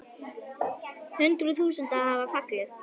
Hundruð þúsunda hafa fallið.